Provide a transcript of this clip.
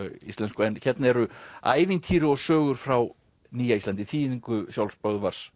íslensku en hérna eru ævintýri og sögur frá Nýja Íslandi í þýðingu sjálfs Böðvars